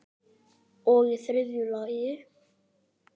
Og í þriðja lagi.